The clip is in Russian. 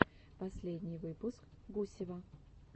последний выпуск гусева